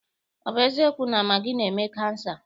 Ọ bụ eziokwu na magị na-eme kansa?